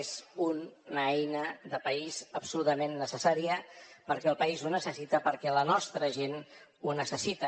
és una eina de país absolutament necessària perquè el país ho necessita perquè la nostra gent ho necessita